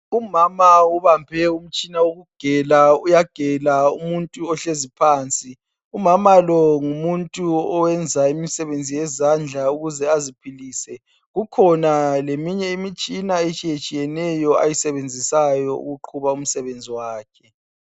Umama ubambe umtshina wokugela, uyagela umuntu ekhanda. Umama lo ngumuntu oyenza imisebenzi yezandla ukuze aziphilise, ikhona leminye imitshina ayisebenzisayo ukuze aqhube imisebenzi yakhe.